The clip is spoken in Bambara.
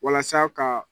Walasa ka